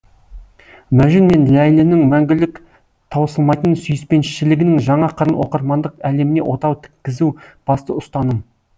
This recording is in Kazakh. мәжүн мен ләйлінің мәңгілік таусылмайтын сүйіспеншілігінің жаңа қырын оқырмандық әлеміне отау тіккізу басты ұстаным